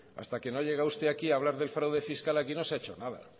hasta que no ha llegado usted aquí a hablar del fraude fiscal aquí no se ha hecho nada